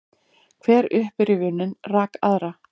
Hver upprifjunin rak aðra.